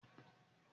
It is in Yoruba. Abèbè da fún yàrá.